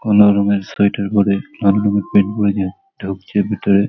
কমলা রঙের সোয়েটার পরে কালো রঙের প্যেন্ট পরে যে ঢুকছে ভিতরে।